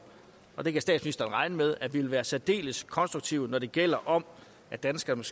og det kan statsministeren regne med at vi vil være særdeles konstruktive når det gælder om at danskerne